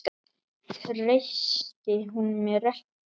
Treysti hún mér ekki?